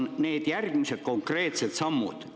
Aga mis on teie järgmised konkreetsed sammud?